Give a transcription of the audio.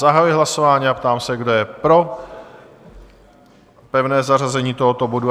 Zahajuji hlasování a ptám se, kdo je pro pevné zařazení tohoto bodu?